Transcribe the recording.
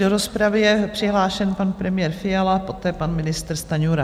Do rozpravy je přihlášen pan premiér Fiala, poté pan ministr Stanjura.